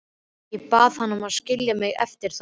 Ég bað hann að skilja mig eftir þarna.